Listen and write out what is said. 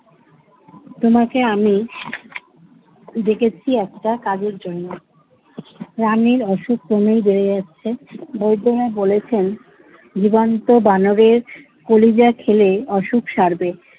তোমাকে আমি ডেকেছি একটা কাজের জন্য। রানীর অসুখ ক্রমেই বেড়ে যাচ্ছে বৈদ্যরাজ বলেছেন জীবন্ত বানরের কলিজা খেলে অসুখ সারবে।